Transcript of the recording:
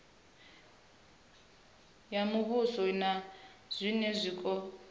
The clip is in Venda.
ya muvhuso na zwiṅwe zwiko